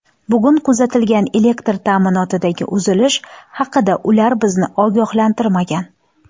Bugun kuzatilgan elektr ta’minotidagi uzilish haqida ular bizni ogohlantirmagan.